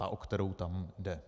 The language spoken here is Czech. Ta, o kterou tam jde.